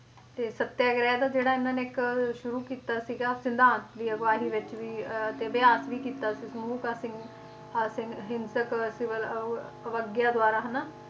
ਤੇ ਸਤਿਆਗ੍ਰਹਿ ਦਾ ਜਿਹੜਾ ਇਹਨਾਂ ਨੇ ਇੱਕ ਅਹ ਸ਼ੁਰੂ ਕੀਤਾ ਸੀਗਾ ਸਿਧਾਂਤ ਦੀ ਅਗਵਾਈ ਵਿੱਚ ਵੀ ਤੇ ਅਭਿਆਸ ਵੀ ਕੀਤਾ ਸੀ ਅਵਗਿਆ ਦੁਆਰਾ ਹਨਾਂ